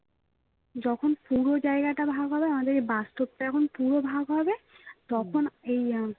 যখন পুরো জায়গাটা ভাগ হবে আমাদেরকে বাঁশ টব যখন পুরো ভাগ হবে তখন এই আহ